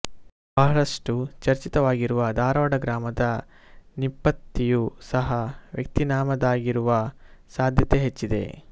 ಬಹಳಷ್ಟು ಚರ್ಚಿತವಾಗಿರುವ ಧಾರವಾಡ ಗ್ರಾಮದ ನಿಪ್ಪತ್ತಿಯು ಸಹ ವ್ಯಕ್ತಿನಾಮದ್ದಾಗಿರುವ ಸಾಧ್ಯತೆ ಹೆಚ್ಚಿದೆ